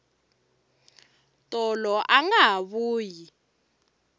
tolo anga ha vuyi